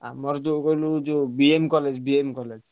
ଆମର ଯୋଉ କହିଲୁ ଯୋଉ BM college BM college ।